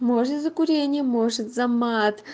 может за курение может за мат